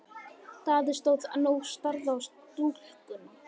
Daði stóð enn og starði á stúlkuna.